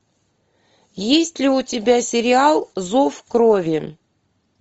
есть ли у тебя сериал зов крови